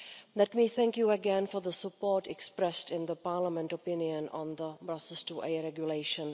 Let me thank you again for the support expressed in the Parliament opinion on the Brussels 2A Regulation.